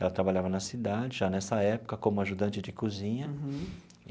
Ela trabalhava na cidade, já nessa época, como ajudante de cozinha. Uhum.